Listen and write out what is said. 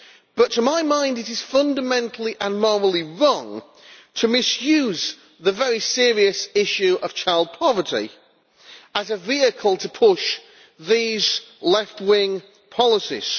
But to my mind, it is fundamentally and morally wrong to misuse the very serious issue of child poverty as a vehicle to push these left-wing policies.